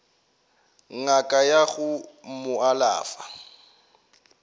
ngaka ya go mo alafa